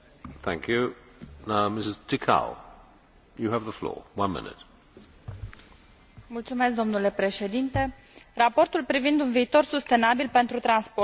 Raportul privind un viitor sustenabil pentru transporturi conține recomandările Parlamentului atât pentru viitoarea Carte Albă pentru un transport sustenabil în Uniunea Europeană, cât și pentru viitorul TEN T.